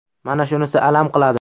Mana shunisi alam qiladi.